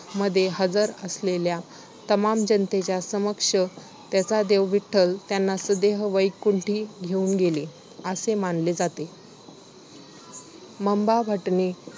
मध्ये हजर असलेल्या तमाम जनतेच्या समक्ष त्यांचा देव, विठ्ठल त्यांना सदेह वैकुंठी घेऊन गेले असे मानले जाते. मंबा भटने